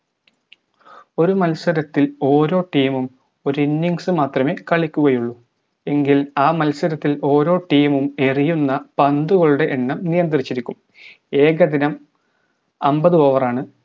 ഒരു മത്സരത്തിൽ ഓരോ team ഉം ഒര് innings മാത്രമേ കളിക്കുകയുള്ളു എങ്കിൽ ആ മത്സരത്തിൽ ഓരോ team ഉം എറിയുന്ന പന്തുകളുടെ എണ്ണം നിയന്ത്രിച്ചിരിക്കും ഏകദിനം അമ്പത് over ആണ്